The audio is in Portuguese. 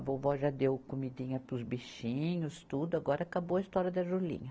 A vovó já deu comidinha para os bichinhos, tudo, agora acabou a história da Julinha.